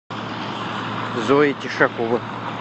зоя тишакова